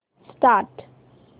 start